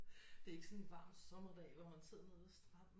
Det er ikke sådan en varm sommerdag hvor man sidder nede ved stranden